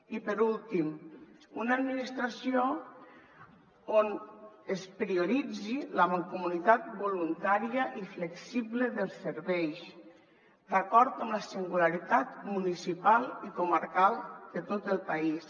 i per últim una administració on es prioritzi la mancomunitat voluntària i flexible dels serveis d’acord amb la singularitat municipal i comarcal de tot el país